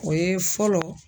O ye fɔlɔ.